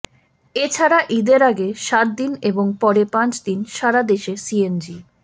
এ ছাড়া ঈদের আগে সাত দিন এবং পরে পাঁচ দিন সারা দেশে সিএনজি